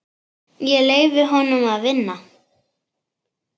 Ég leyfi honum að vinna.